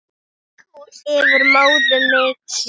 Yfir móðuna miklu.